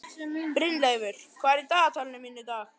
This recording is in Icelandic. Brynleifur, hvað er í dagatalinu í dag?